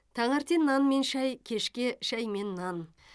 таңертең нан мен шай кешке шай мен нан